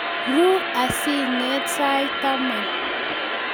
Ru asiing'et sait taman